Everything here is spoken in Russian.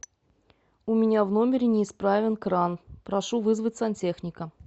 у меня в номере неисправен кран прошу вызвать сантехника